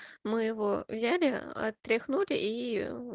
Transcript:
мы его взяли отряхнули и